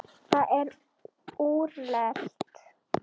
Það er úrelt.